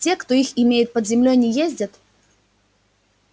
те кто их имеет под землёй не ездят